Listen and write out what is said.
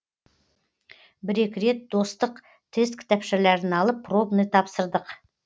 бір екі рет достық тест кітапшаларын алып пробный тапсырдық